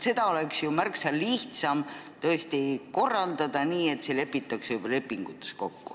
Seda oleks ju märksa lihtsam korraldada nii, et see lepitakse juba lepingutes kokku.